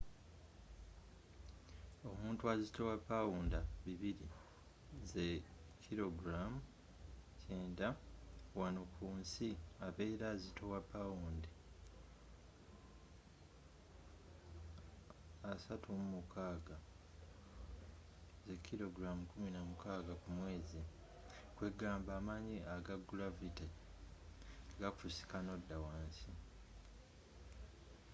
omuntu azitowa pawunda 200 90kg wano ku nsi abera azitowa pawunda 36 16kg ku mwezi. kwegamba amanyi aga gulavity gakusika nodda wansi